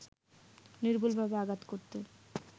নির্ভুলভাবে আঘাত করতে